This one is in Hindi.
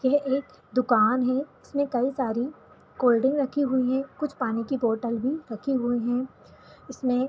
यह एक दुकान है इसमे कई सारे कोलड्रिंक रखी हुई है कुछ पानी की बोतल भी रखी हुई है इसमें --